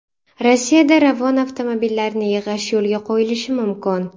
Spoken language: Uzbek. Rossiyada Ravon avtomobillarini yig‘ish yo‘lga qo‘yilishi mumkin.